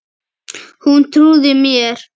Hún trúði mér.